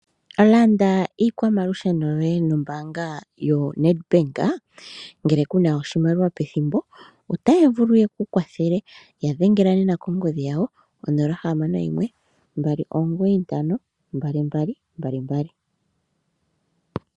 Landa iikwamalusheno yoye nombaanga yoNedbank. Ngele ku na oshimaliwa pethimbo ndyoka otaya vulu ye ku kwathele. Ya dhengela nena kongodhi yawo 061 295 2222.